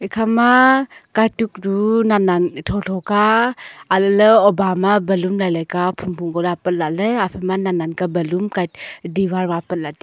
ekhama katuk chu nan ka tho tho ka alah ley hoba ma balloon lai lai ga diwar ma apat lah taiga.